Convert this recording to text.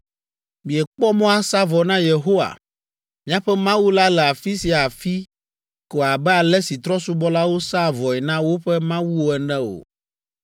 Miekpɔ mɔ asa vɔ na Yehowa, miaƒe Mawu la le afi sia afi ko abe ale si trɔ̃subɔlawo sãa vɔe na woƒe mawuwo ene o,